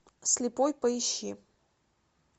слепой поищи